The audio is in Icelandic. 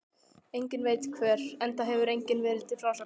Enginn veit hvert, enda hefur enginn verið til frásagnar.